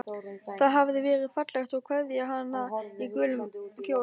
Það hafði verið fallegt að kveðja hana í gulum kjól.